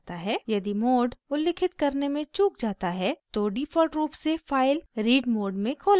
यदि mode उल्लिखित करने में चूक जाता है तो डिफ़ॉल्ट रूप से फाइल read मोड में खोला जायेगा